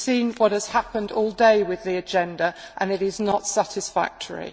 You have seen what has happened all day with the agenda and it is not satisfactory.